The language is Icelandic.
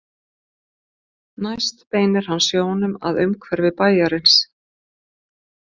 Næst beinir hann sjónum að umhverfi bæjarins.